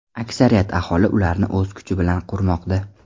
Aksariyat aholi ularni o‘z kuchi bilan qurmoqda.